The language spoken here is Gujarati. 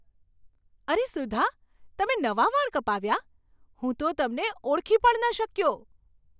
અરે સુધા, તમે નવા વાળ કપાવ્યા! હું તો તમને ઓળખી પણ ન શક્યો!